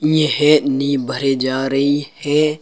ये नींव भरे जा रही है।